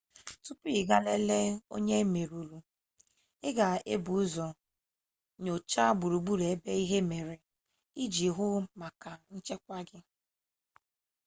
tupu ị gaa lelee onye e merụrụ i ga-ebu ụzọ nyochaa gburugburu ebe ihe mere iji hụ maka nchekwa gị